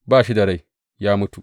Ba shi da rai, ya mutu.